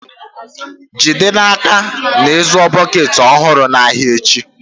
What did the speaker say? Jide n'aka na ị zụų bọket ọhụrụ n'ahịa echi.